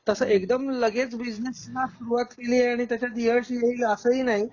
तसं एकदम लगेच बिझनेसला सुरुवात केली आणि त्याच्यात यश मिळेल अस ही नाही